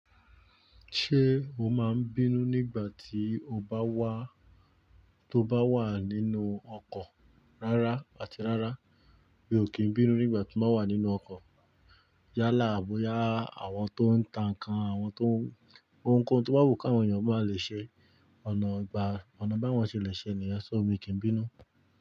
Ṣé o máa ń bínú nígbà tí o bá wà, tó bá wà nínú ọkọ̀? Rárá àti rárá mi ò kí ń bínú nígbà tí n ba wà nínú ọkọ̀. Yálà à boya àwọn tó ń tan nkán, àwọn tó ń, ohunkóhun tó bá wù káwọn ènìyàn bá lè ṣe ọ̀nà ìgbà, ọ̀nà báwọn ṣe lè ṣe niyen so mi kì ń bínú.